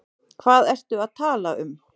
Hvað ertu að tala um?